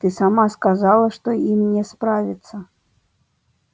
ты сама сказала что им не справиться